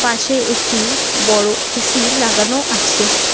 পাশে একটি বড় এ_সি লাগানো আছে।